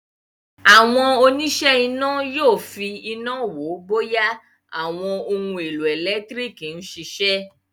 Àwọn òníṣẹ́-iná yóò fi iná wo bóyá àwọn ohun-èlò ẹ̀lẹ́tíríkì ń ṣiṣẹ́.